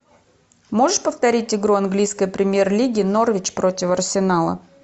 можешь повторить игру английской премьер лиги норвич против арсенала